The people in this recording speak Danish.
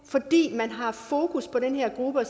man har haft fokus på den her gruppe og